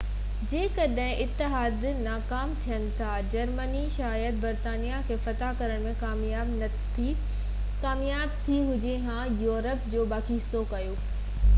جيڪڏهن اتحادي ناڪام ٿين ها جرمني شايد برطانيا کي فتح ڪرڻ ۾ ڪامياب ٿئي ها جئين يورپ جو باقي حصو ڪيو